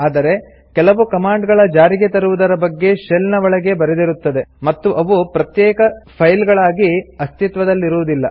ಆದರೆ ಕೆಲವು ಕಮಾಂಡ್ ಗಳ ಜಾರಿಗೆ ತರುವುದರ ಬಗ್ಗೆ ಶೆಲ್ ನ ಒಳಗೆಯೇ ಬರೆದಿರುತ್ತದೆ ಮತ್ತು ಅವು ಪ್ರತ್ಯೇಕ ಫೈಲ್ ಗಳಾಗಿ ಆಸ್ತಿತ್ವದಲ್ಲಿರುವುದಿಲ್ಲ